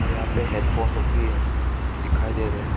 यहां पे headphone लोग भी है दिखाई दे रहा है।